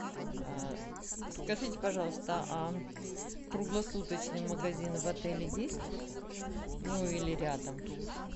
скажите пожалуйста а круглосуточный магазин в отеле есть ну или рядом